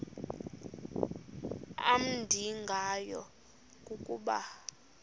amnandi ngayo kukuba